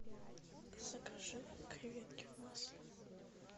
закажи креветки в масле